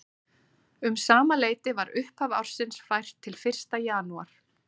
Um sama leyti var upphaf ársins fært til fyrsta janúar.